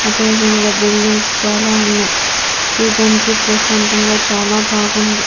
అదేవిధంగా బిల్డింగ్స్ చాలా ఉన్నాయ్ చూడ్డానికి ప్రశాంతంగా చాలా బాగుంది.